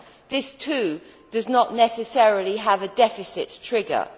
This, too, does not necessarily have a deficit trigger.